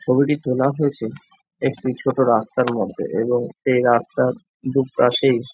ছবিটি তোলা হয়েছে একটি ছোট রাস্তার মধ্যে এবং সেই রাস্তার দুই পাশেই --